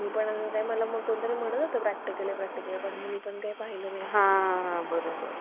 नेमणूक राज्य सरकार करते. यानंतर यांच्यामध्ये सुद्धा एक अध्यक्ष आणि अन्य सदस्य असतात. फक्त इथं आपण mention केलेलंय. म्हणजे, इथं आपण ठरवलेलंय नंतर.